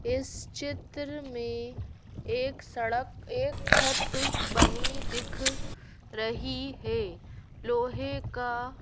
इस चित्र में एक सड़क एक छत बनी दिख रही है लोहे का--